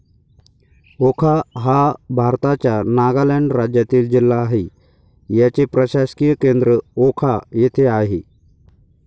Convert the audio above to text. वोखा हा भारताच्या नागालँड राज्यातील जिल्हा आहे. याचे प्रशासकीय केंद्र वोखा येथे आहे.